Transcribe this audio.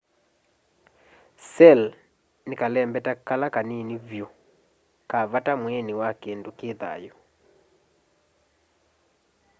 cell' ni kalembeta kala kanini vyu ka vata mwiini wa kindu ki thayu